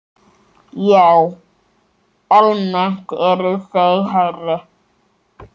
Já, almennt eru þau hærri.